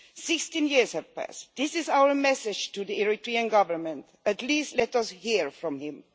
Sixteen years have passed, and this is our message to the Eritrean Government at least let us hear from him!